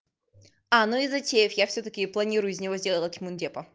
а ну и затеев я всё-таки планирую из него сделать мундепа